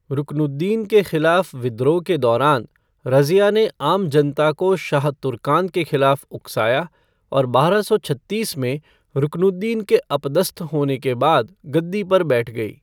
रुकनुद्दीन के खिलाफ विद्रोह के दौरान, रज़िया ने आम जनता को शाह तुर्कान के खिलाफ उकसाया, और बारह सौ छत्तीस में रुकनुद्दीन के अपदस्थ होने के बाद गद्दी पर बैठ गई।